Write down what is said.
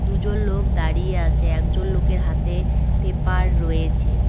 দুজন লোক দাঁড়িয়ে আছে একজন লোকের হাতে পেপার রয়েছে।